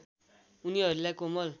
उनीहरूलाई कोमल